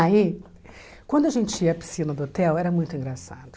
Aí, quando a gente ia à piscina do hotel, era muito engraçado.